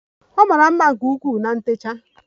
Ọ mara mma nke ukwuu na ntecha